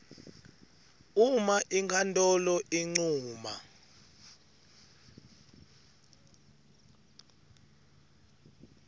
uma inkhantolo incuma